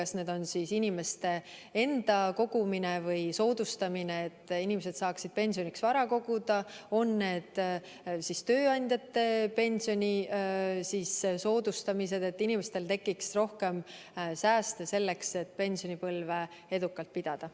See võib olla inimeste enda kogumine või soodustamine, et inimesed saaksid pensioniks vara koguda, või on see siis tööandjate pensioni soodustamine, et inimestel tekiks rohkem sääste selleks, et pensionipõlve edukalt pidada.